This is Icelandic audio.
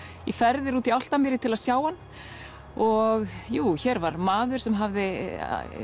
í ferðir út í Álftamýri til að sjá hann og jú hér var maður sem hafði